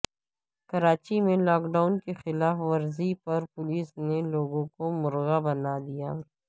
کراچی میں lockdown کی خلاف ورزی پر پولیس نے لوگوں کو مرغا بنا دیا